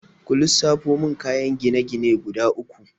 Ku lissafo min kayan gine-gine guda uku?